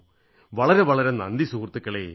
വളരെ വളരെ നന്ദി സുഹൃത്തുക്കളേ നന്ദി